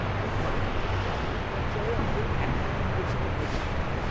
খুব ভালো। প্রাথমিক পর্যায়ে আমাদের এক কোটি ইনজেকশনের প্রয়োজন পড়বে।